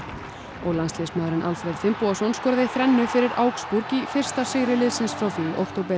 og landsliðsmaðurinn Alfreð Finnbogason skoraði þrennu fyrir augsburg í fyrsta sigri liðsins frá því í október